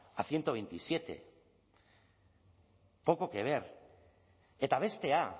a ciento veintisiete poco que ver eta bestea